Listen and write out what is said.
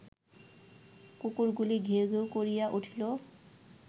কুকুরগুলি ঘেউ ঘেউ করিয়া উঠিল